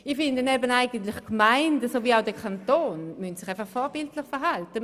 Ich finde, sowohl die Gemeinden als auch der Kanton sollten sich vorbildlich verhalten.